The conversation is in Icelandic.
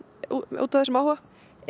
út af þessum áhuga